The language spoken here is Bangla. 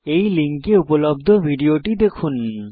এই লিঙ্কে উপলব্ধ ভিডিওটি দেখুন